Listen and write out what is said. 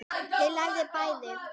Þau lifðu bæði.